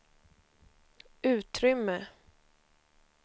utrymme